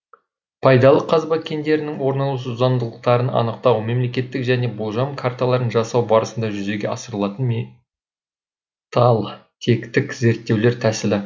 пайдалы қазба кендерінің орналасу заңдылықтарын анықтау металтектік және болжам карталарын жасау барысында жүзеге асырылатын металтектік зерттеулер тәсілі